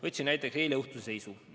Võtsin välja eileõhtuse seisu.